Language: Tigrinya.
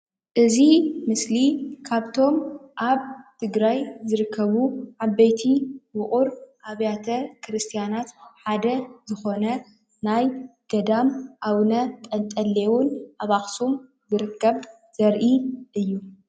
እዚ ምስሊ ካብቶም ኣብ ትግራይ ዝርከቡ ዓበይቲ ውቁር ኣብያተ ክርስትያን ሓደ ዝኾነ ናይ ገዳም ኣብነ ጸንጤሎን ኣብ ኣክሱም ዝርከብ ዘርኢ እዩ።